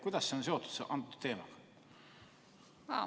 Kuidas see on seotud selle teemaga?